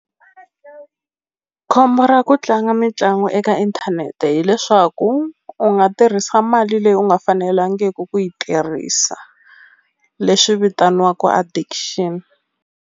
Khombo ra ku tlanga mitlangu eka inthanete hileswaku u nga tirhisa mali leyi u nga fanelangiku ku yi tirhisa leswi vitaniwaku addiction.